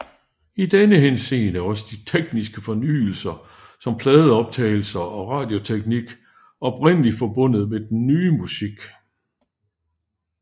I denne henseende er også de tekniske fornyelser som pladeoptagelser og radioteknik oprindelig forbundet med den nye musik